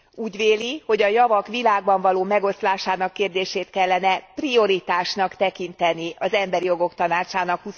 Úgy véli, hogy a javak világban való megoszlásának kérdését kellene prioritásnak tekinteni az Emberi Jogok Tanácsának